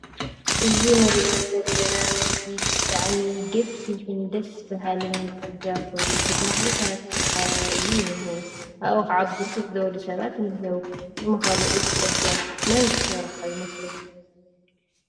እዚ ንርኦ ዘለና ምስሊ ብጣዕሚ ገፊሕን ንደስ በሃሊ ፅሪግያ ኮይኑ ብተኽልታት ዝተከበበ እዩ ዝኒሄ ። ካብኡ ከዓ ብርክት ዝበሉ ሰባት እንሂው። ንምኻኑ እቲ ፅርግያ መን ዝሰርሖ ይመስለኩም?